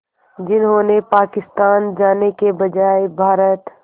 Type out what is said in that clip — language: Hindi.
जिन्होंने पाकिस्तान जाने के बजाय भारत